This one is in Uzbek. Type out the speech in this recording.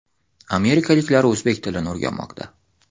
Amerikaliklar o‘zbek tilini o‘rganmoqda.